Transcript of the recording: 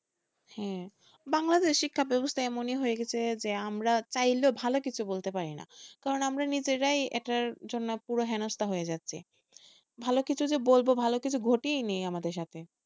হ্যাঁ বাংলাদেশে শিক্ষা ব্যবস্থা এমনি হয়ে গেছে যে আমরা চাইলেও ভালো কিছু বলতে পারি না আমরা নিজেরাই এটার জন্য পুরো হেনস্থা হয়ে যাচ্ছি। ভালো কিছু যে বলবো ভালো কিছু ঘটেনি আমাদের সাথে,